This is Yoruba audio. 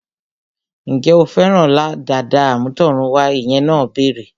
Ǹjẹ́ o fẹ́ràn dàda àmútọ̀runwá? Ìyá náà béèrè